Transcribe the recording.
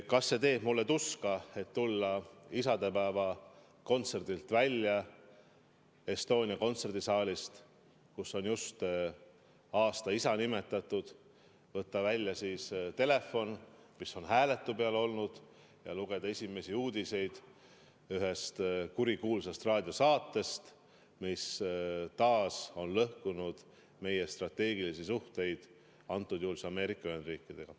Kas see teeb mulle tuska, kui ma pean isadepäeva kontserdil välja tulema Estonia kontserdisaalist, kus on just aasta isa nimetatud, et võtta välja telefon, mis on hääletu peal olnud, ja lugeda esimesi uudiseid kurikuulsast raadiosaatest, mis taas on lõhkunud meie strateegilisi suhteid, antud juhul Ameerika Ühendriikidega?